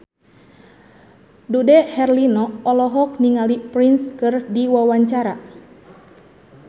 Dude Herlino olohok ningali Prince keur diwawancara